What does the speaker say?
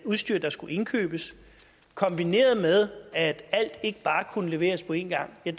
udstyr der skulle indkøbes og at alt ikke bare kunne leveres på én gang har